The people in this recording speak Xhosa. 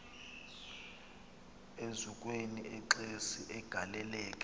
eziukweni exesi agaleleka